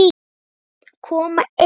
Mörg börn koma ein.